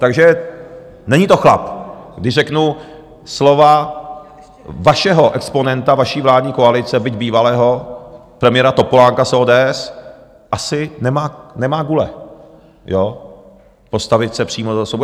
Takže není to chlap, když řeknu slova vašeho exponenta vaší vládní koalice, byť bývalého premiéra Topolánka z ODS, asi nemá gule postavit se přímo za osobu.